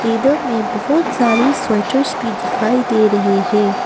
Table में बहुत सारे स्वेटर भी दिखाई दे रहे हैं।